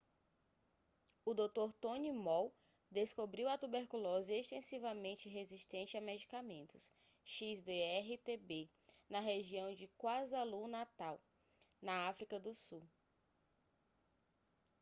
o dr. tony moll descobriu a tuberculose extensivamente resistente a medicamentos xdr-tb na região de kwazulu-natal na áfrica do sul